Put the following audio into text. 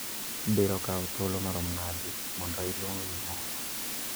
Biro kawo thoulo marom nadi mondo iluong gimoro